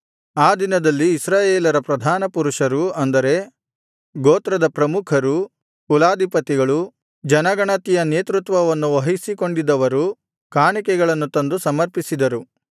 ಆ ದಿನದಲ್ಲಿ ಇಸ್ರಾಯೇಲರ ಪ್ರಧಾನ ಪುರುಷರು ಅಂದರೆ ಗೋತ್ರದ ಪ್ರಮುಖರು ಕುಲಾಧಿಪತಿಗಳು ಜನಗಣತಿಯ ನೇತೃತ್ವವನ್ನು ವಹಿಸಿಕೊಂಡಿದ್ದವರು ಕಾಣಿಕೆಗಳನ್ನು ತಂದು ಸಮರ್ಪಿಸಿದರು